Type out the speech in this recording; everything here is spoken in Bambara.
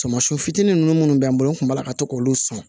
Samasi fitinin nunnu munnu bɛ n bolo n kun b'a la ka to k'olu san